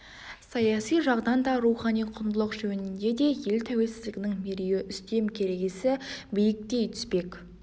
саяси жағынан да рухани құндылық жөнінде де ел тәуелсіздігінің мерейі үстем керегесі биіктей түспек